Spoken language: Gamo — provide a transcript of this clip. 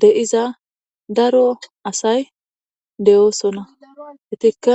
de7iza daro asay de7oosona hetikka